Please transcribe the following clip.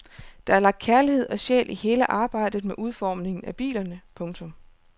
Der er lagt kærlighed og sjæl i hele arbejdet med udformningen af bilerne. punktum